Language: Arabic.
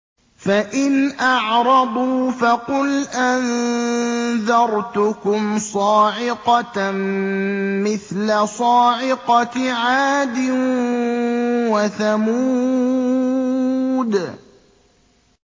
فَإِنْ أَعْرَضُوا فَقُلْ أَنذَرْتُكُمْ صَاعِقَةً مِّثْلَ صَاعِقَةِ عَادٍ وَثَمُودَ